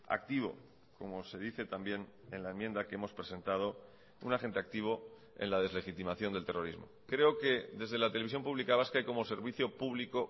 activo como se dice también en la enmienda que hemos presentado un agente activo en la deslegitimación del terrorismo creo que desde la televisión pública vasca y como servicio público